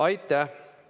Aitäh!